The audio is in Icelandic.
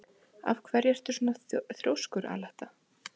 Af hverju ertu svona þrjóskur, Aletta?